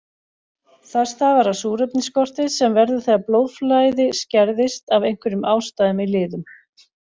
Það stafar af súrefnisskorti sem verður þegar blóðflæði skerðist af einhverjum ástæðum í liðum.